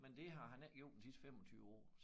Men det har han ikke gjort de sidste 25 år